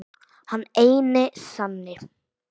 Hinn eini sanni!